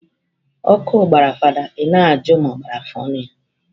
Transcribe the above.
Ọkụ gbara fada, i na ajụ ma ọ gbara afọ ọnụ ya.